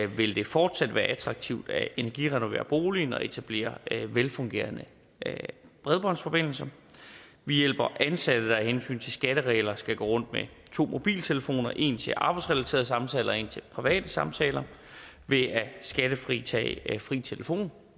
vil det fortsat være attraktivt at energirenovere boligen og etablere velfungerende bredbåndsforbindelser vi hjælper ansatte der af hensyn til skatteregler skal gå rundt med to mobiltelefoner en til arbejdsrelaterede samtaler og en til private samtaler ved at skattefritage fri telefon